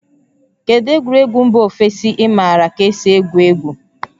Kedu egwuregwu mba ofesi ị maara ka esi egwu egwu?